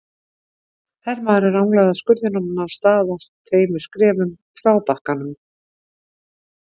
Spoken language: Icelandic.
Hermaðurinn ranglaði að skurðinum og nam staðar tveimur skrefum frá bakkanum.